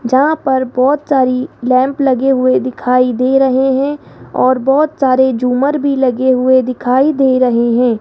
जहां पर बहोत सारी लैंप लगे हुए दिखाई दे रहे हैं और बहोत सारे झूमर भी लगे हुए दिखाई दे रहे हैं।